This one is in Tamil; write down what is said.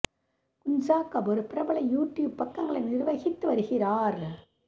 குன்ஜா கபூர் பிரபல யூ டியூப் பக்கங்களை நிர்வகித்து வருகிறார்